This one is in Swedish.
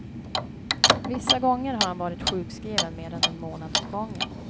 Vissa gånger har han varit sjukskriven mer än en månad åt gången.